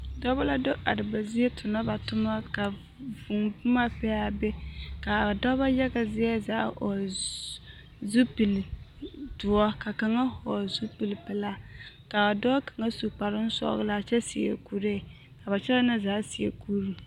Dɔbɔ la do are ba zie tonɔ ba toma ka vūū boma be a be k'a dɔbɔ yaga zie hɔgele zupili doɔ ka kaŋa hɔgele zupili pelaa k'a dɔɔ kaŋa su kparoŋ sɔgelaa kyɛ seɛ kuree ka ba kyɛlɛɛ na zaa seɛ kuri.